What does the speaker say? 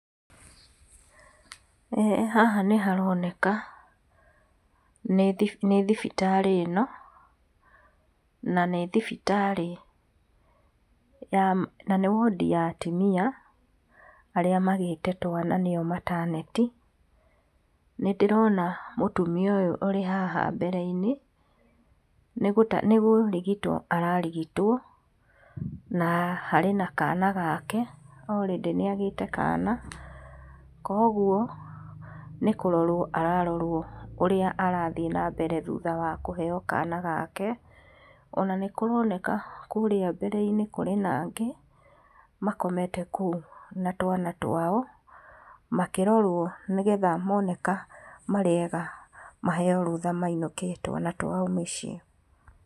Haha nĩ haroneka nĩ thibitarĩ ĩno. Na nĩ thibitarĩ, na nĩ ward ya atumia arĩa magĩte twana nĩyo maternity, nĩndĩrona mũtumia ũyũ ũrĩ haha mbere inĩ, nĩkũrigitwo ararigitwo na harĩ na kana gake already nĩagĩte kana. Koguo nĩkũrorwo ararorwo ũrĩa arathiĩ na mbere thutha wakũheyo kana gake. Ona nĩkũroneka kũrĩa mbere-inĩ kũrĩ na angĩ, makomete kũu na twana twao makĩrorwo, nĩgetha moneka marĩa ega maheyo rũtha mainũke na twana twao mũciĩ.